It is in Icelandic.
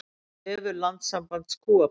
Vefur Landssambands kúabænda